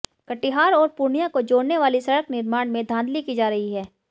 कटिहार और पूर्णिया को जोड़ने वाली सड़क निर्माण में धांधली की जा रही है